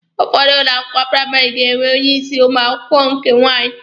Ụfọdụ ụlọ akwụkwọ praịmarị ga-enwe onye isi ụmụ akwụkwọ nke nwaanyị.